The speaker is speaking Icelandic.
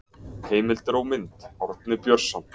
Heimildir og mynd: Árni Björnsson.